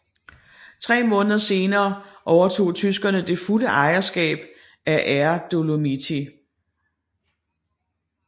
Tre måneder senere overtog tyskerne det fulde ejerskab af Air Dolomiti